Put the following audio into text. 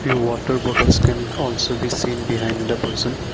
the water bottles can also be seen behind the person.